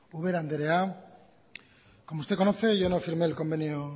ubera andrea como usted conoce yo no firmé el convenio